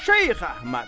Şeyx Əhməd.